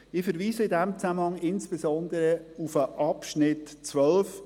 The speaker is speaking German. Ich verweise in diesem Zusammenhang insbesondere auf den Abschnitt 12: